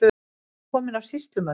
Hún var komin af sýslumönnum.